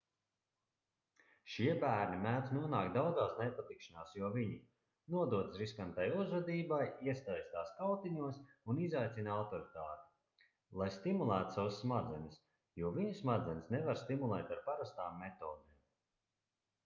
šie bērni mēdz nonākt daudzās nepatikšanās jo viņi nododas riskantai uzvedībai iesaistās kautiņos un izaicina autoritāti lai stimulētu savas smadzenes jo viņu smadzenes nevar stimulēt ar parastām metodēm